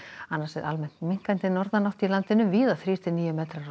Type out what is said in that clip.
annars er almennt minnkandi norðanátt á landinu víða þrír til tíu metrar á